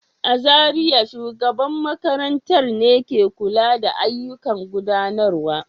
A Zariya, shugaban makarantar ne ke kula da ayyukan gudanarwa.